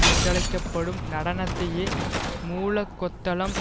என்றழைக்க படும் நடனத்தையை மூலக்கொத்தளம்